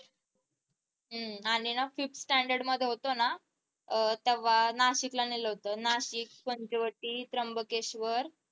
हम्म आणि ना fifth standard मध्ये होते ना अह केव्हा नाशिकला नेलं होत. नाशिक पंचवटी त्रंबकेश्वर